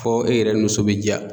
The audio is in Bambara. Fɔ e yɛrɛ ni muso be diya